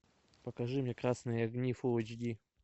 покажи мне красные огни фул эйч ди